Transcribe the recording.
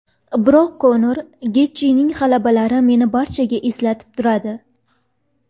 Biroq Konor va Getjining g‘alabalari meni barchaga eslatib turadi”.